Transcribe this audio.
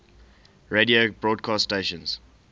radio broadcast stations